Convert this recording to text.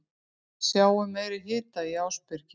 Við sáum meiri hita í Ásbyrgi